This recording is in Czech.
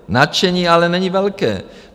Nadšení ale není velké.